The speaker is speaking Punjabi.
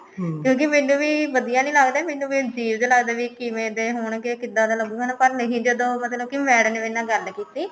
ਕਿਉਂਕਿ ਮੈਨੂੰ ਵੀ ਵਧੀਆਂ ਨੀ ਲੱਗਦਾ ਮੈਨੂੰ ਵੀ ਅਜੀਬ ਜਾ ਲੱਗਦਾ ਵੀ ਇਹ ਕਿਵੇਂ ਦੇ ਹੋਣਗੇ ਕਿੱਦਾਂ ਦਾ ਲਗੁਗਾ ਪਰ ਨਹੀਂ ਜਦੋਂ ਮਤਲਬ ਕਿ madam ਨੇ ਮੇਰੇ ਨਾਲ ਗੱਲ ਕੀਤੀ